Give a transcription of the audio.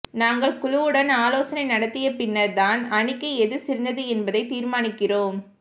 நாங்கள் குழுவுடன் ஆலோசனை நடத்திய பின்னர் தான் அணிக்கு எது சிறந்தது என்பதை தீர்மானிக்கிறோம்